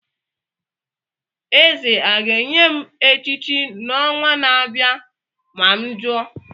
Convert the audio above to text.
Eze a ga-enye m echichi n'ọnwa na-abịa ma m jụọ?